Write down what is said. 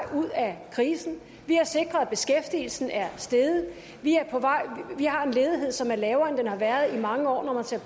ud af krisen vi har sikret at beskæftigelsen er steget vi har en ledighed som er lavere end den har været i mange år når man ser